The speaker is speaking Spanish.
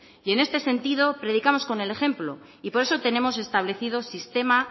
y en este sentido predicamos con el ejemplo y por eso tenemos establecido sistema